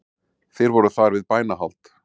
Þeir voru þar við bænahald